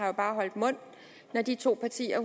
jo bare holdt mund når de to partier